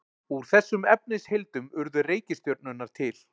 Úr þessum efnisheildum urðu reikistjörnurnar til.